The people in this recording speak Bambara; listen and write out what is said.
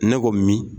Ne ko min